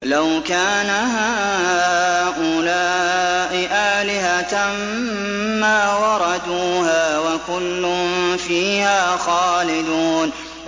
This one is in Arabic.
لَوْ كَانَ هَٰؤُلَاءِ آلِهَةً مَّا وَرَدُوهَا ۖ وَكُلٌّ فِيهَا خَالِدُونَ